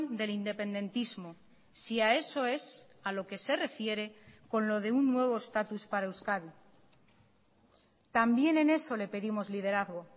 del independentismo si a eso es a lo que se refiere con lo de un nuevo estatus para euskadi también en eso le pedimos liderazgo